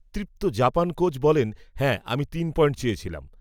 তৃপ্ত Japan coach, বলেন, হ্যাঁ, আমি তিন পয়েন্ট চেয়েছিলাম